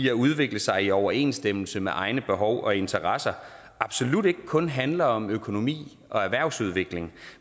at udvikle sig i overensstemmelse med egne behov og interesser absolut ikke kun handler om økonomi og erhvervsudvikling